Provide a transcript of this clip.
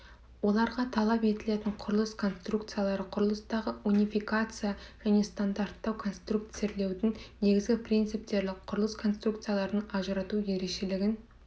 оларға талап етілетін құрылыс конструкциялары құрылыстағы унификация және стандарттау конструкцирлеудің негізгі принциптері құрылыс конструкцияларының ажырату ерекшелігін